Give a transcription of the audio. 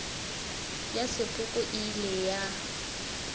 ya sepoko e ile ya